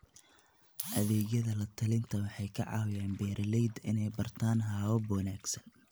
Adeegyada la-talinta waxay ka caawiyaan beeralayda inay bartaan habab wanaagsan.